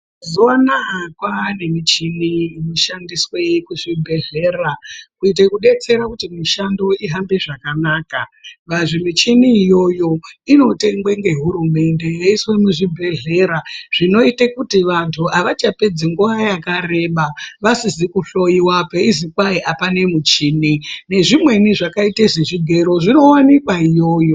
Mazuvano aya kwave nemichini inoshandiswe kuzvibhedhlera kuite kudetsera kuti mishando ihambe zvakanaka. Michini iyoyo inotengwe ngehurumende yoiswe muzvibhedhlera zvinoite kuti vantu havachapedzi nguva yakareba vesize kuhloyiwa payizi kwahi hapane michini, nezvimweni zvakaite sezvigero zvinowanikwe iyoyo.